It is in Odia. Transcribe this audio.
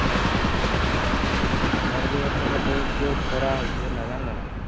ଆମର ବି ଏପଟରେ ବହୁତ ଜୋରେ ଖରା ହଉଛି ହେଲା ଜାଣିଲ ନା?